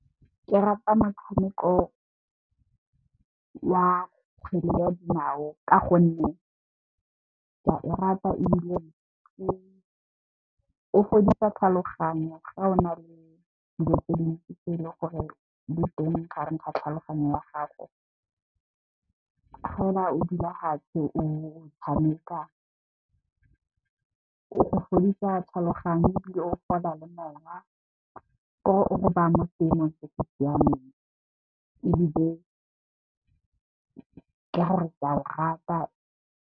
Ke rata motshameko wa kgwele ya dinao ka gonne ke a o rata ebile, o fodisa tlhaloganyo ga o na le dilo tse dintsi tse leng gore di teng gare ga tlhaloganyo ya gago. O fela o dula fatshe o tshameka o fodisa tlhaloganyo ebile, o fola le moya ke gore o go baya mo seemong se se siameng ebile, ke gore ke a o rata.